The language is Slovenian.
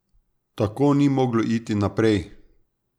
Tako ni moglo iti naprej.